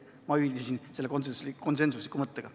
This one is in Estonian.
Ma ühinesin selle konsensusliku mõttega.